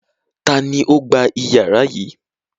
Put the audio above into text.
Ta ni ó gba ìyàrá yìí?